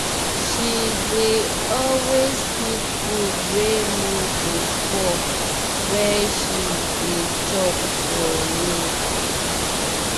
she dey always pick food wey no go pour when she dey chop for road.